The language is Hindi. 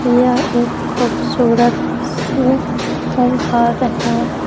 यह एक खूबसूरत सी घर है।